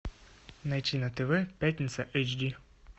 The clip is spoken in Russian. найти на тв пятница эйч ди